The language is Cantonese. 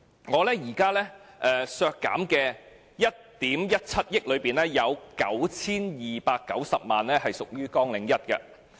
我提出削減的1億 1,700 萬元當中，有 9,290 萬元是屬於綱領1的。